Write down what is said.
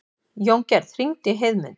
Jóngerð, hringdu í Heiðmund.